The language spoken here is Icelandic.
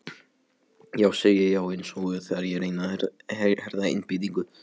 Já, segi ég á innsoginu og reyni að herða einbeitinguna.